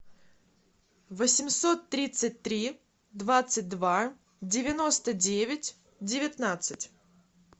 восемьсот тридцать три двадцать два девяносто девять девятнадцать